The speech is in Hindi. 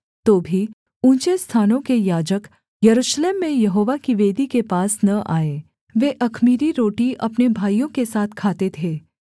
तो भी ऊँचे स्थानों के याजक यरूशलेम में यहोवा की वेदी के पास न आए वे अख़मीरी रोटी अपने भाइयों के साथ खाते थे